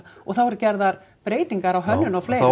og það voru gerðar breytingar á hönnun og fleiru og